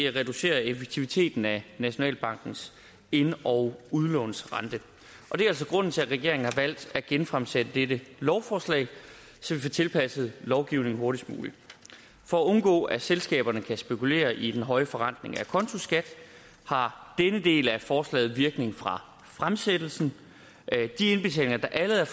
reducere effektiviteten af nationalbankens ind og udlånsrente og det er altså grunden til at regeringen har valgt at genfremsætte dette lovforslag så vi får tilpasset lovgivningen hurtigst muligt for at undgå at selskaberne kan spekulere i den høje forrentning af acontoskat har denne del af forslaget virkning fra fremsættelsen de indbetalinger der allerede